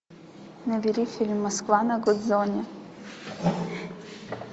набери фильм москва на гудзоне